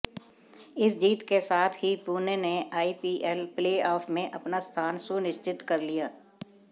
इस जीत के साथ ही पुणे ने आईपीएल प्लेऑफ में अपना स्थान सुनश्चित कर लिया